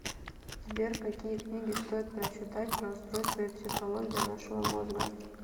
сбер какие книги стоит прочитать про устройство и психологию нашего мозга